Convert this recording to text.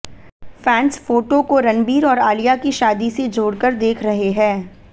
fans photo को रणबीर और आलिया की शादी से जोड़कर देख रहे हैं